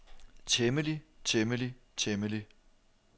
temmelig temmelig temmelig